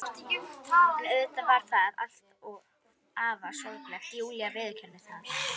En auðvitað var það allt afar sorglegt, Júlía viðurkennir það.